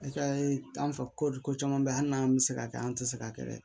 I ka an fɛ ko caman beyi hali n'an bɛ se ka kɛ an tɛ se k'a kɛ dɛ